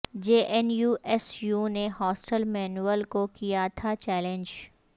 جے N U S U نے hostel manual کو کیا تھاچیلنج